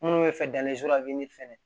Minnu bɛ fɛ fɛnɛ